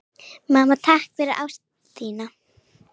Mamma, takk fyrir ást þína.